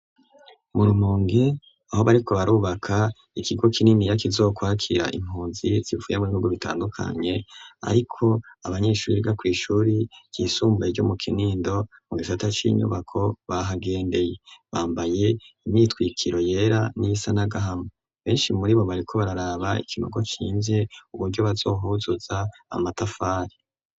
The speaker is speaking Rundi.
Mu rumonge aho bariko barubaka ikigo kinini ya kizokwakira impunzi zifuye mu ibihugu bitandukanye ariko abanyeshuri rgaku ishuri cisumbuye ryo mu kinindo mu gisata c'inyubako bahagendeye bambaye imyitwikiro yera n'isanagahama benshi muri bo bariko bararaba ikinogo cinze uburyo bazohuzuza amatafari.